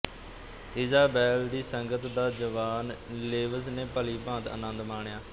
Isabel ਦੀ ਸੰਗਤ ਦਾ ਜਵਾਨ ਲੇਵਿਸ ਨੇ ਭਲੀਭਾਂਤ ਆਨੰਦ ਮਾਣਿਆ